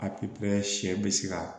Apiyɛri sɛn be se kaa